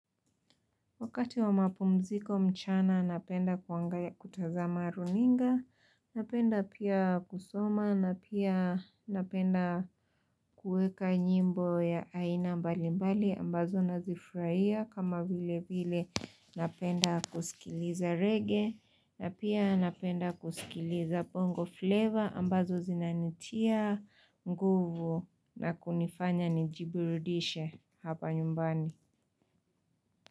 Wakati wa mapumziko mchana napenda kutazama runinga, napenda pia kusoma, napenda kuweka nyimbo ya aina mbalimbali ambazo nazifurahia kama vile vile napenda kusikiliza reggae, na pia napenda kusikiliza bongo flavor ambazo zinanitia nguvu na kunifanya nijiburudishe hapa nyumbani.